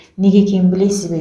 неге екенін білесіз бе